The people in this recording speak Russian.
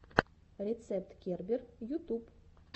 рецепт кербер ютуб